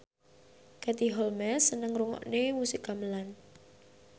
Katie Holmes seneng ngrungokne musik gamelan